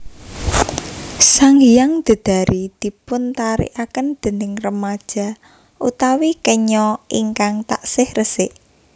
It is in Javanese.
Sanghyang Dedari dipuntarikaken déning remaja utawi kenya ingkang taksih resik